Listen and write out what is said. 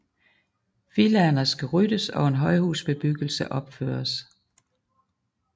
Villaerne skulle ryddes og en højhusbebyggelse opføres